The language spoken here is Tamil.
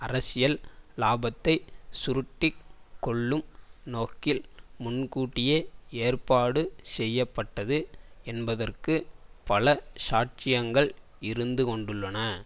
அரசியல் இலாபத்தை சுருட்டி கொள்ளும் நோக்கில் முன்கூட்டியே ஏற்பாடு செய்ய பட்டது என்பதற்கு பல சாட்சியங்கள் இருந்துகொண்டுள்ளன